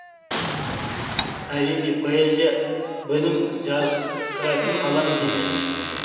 әрине поэзия білім жарыстыратын алаң емес